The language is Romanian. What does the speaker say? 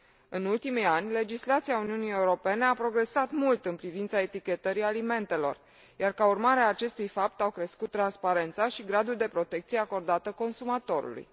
În ultimii ani, legislația Uniunii Europene a progresat mult în privința etichetării alimentelor, iar ca urmare a acestui fapt au crescut transparența și gradul de protecție acordată consumatorului.